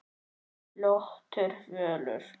Flottur völlur.